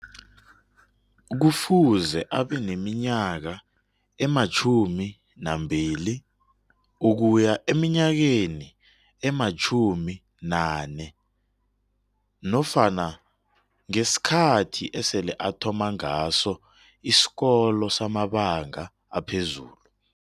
Kufuze abaneminyaka ematjhumi nambili ukuya eminyakeni ematjhumi nane nofana ngesikhathi esele athoma ngaso isikolo samabanga aphezulu